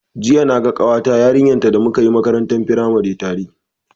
Jiya naga ƙawata ta yarinta da muka yi makarantar firamare tare.